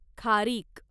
खारीक